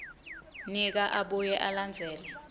nika abuye alandzele